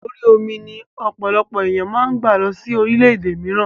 Orí omi ni ọ̀pọ̀lọpọ̀ ènìyàn máa ń gba lọ sí orílédé mìíràn